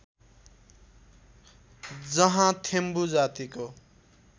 जहाँ थेम्बु जातीको